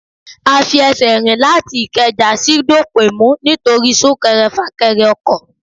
A fi ẹsẹ̀ rìn láti ìkẹjà sí Dọ̀pẹ̀mú nítorí sún-kẹrẹ-fà-kẹrẹ ọkọ̀.